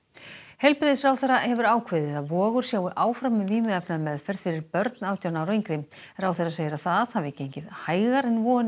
heilbrigðisráðherra hefur ákveðið að Vogur sjái áfram um vímuefnameðferð fyrir börn átján ára og yngri ráðherra segir að það hafi gengið hægar en vonir